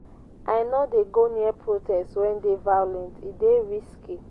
i no dey go near protest wey dey violent e dey risky.